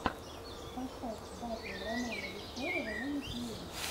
поставь батл романа веселого на ютьюбе